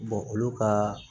olu ka